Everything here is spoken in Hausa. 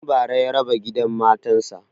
Tun bara ya raba gidan matan sa